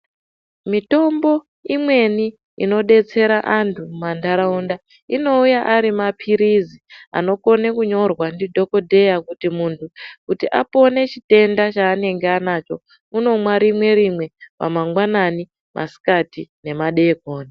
Mitombo imweni inodetsera vantu mumanharaunda inouya ari mapirizi anokona kunyorwa ndidhokodheya kuti apone chitenda chaanenge anacho unomwa rimwe rimwe pamangwanani masikati nemadeekoni.